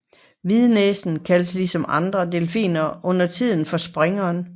Hvidnæsen kaldes ligesom andre delfiner undertiden for springeren